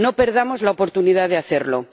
No perdamos la oportunidad de hacerlo.